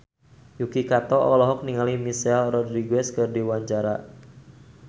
Yuki Kato olohok ningali Michelle Rodriguez keur diwawancara